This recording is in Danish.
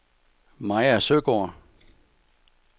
Maja Søgaard